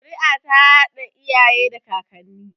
Zuri'a ta haɗa iyaye da kakanni